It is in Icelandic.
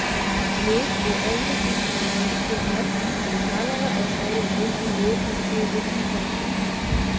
Mið- og efriþýsku mállýskurnar eru talaðar á svæðunum í Mið- og Suður-Þýskalandi.